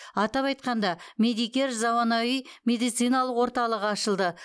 атап айтқанда медикер заманауи медициналық орталығы ашылды